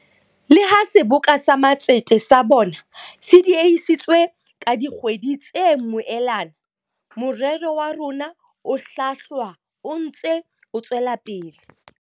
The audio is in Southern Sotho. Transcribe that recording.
Le ha Seboka sa Matsete sa bone se diehisitswe ka dikgwedi tse moelana, morero wa rona o hlwahlwa o ntse o tswela pele.